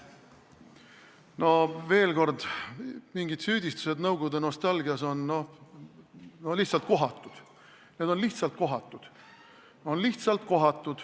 Veel kord: süüdistused nõukogude nostalgias on lihtsalt kohatud, need on lihtsalt kohatud.